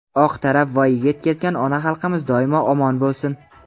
oq tarab voyaga yetkazgan ona xalqimiz doimo omon bo‘lsin!.